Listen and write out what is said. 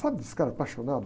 Sabe esses caras apaixonados?